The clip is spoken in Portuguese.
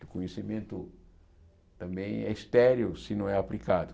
O conhecimento também é estéreo se não é aplicado.